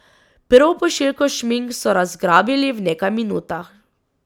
Prvo pošiljko šmink so razgrabili v nekaj minutah.